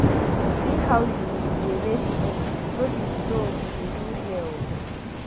See how you dey waste ink no be so we dey do here oo.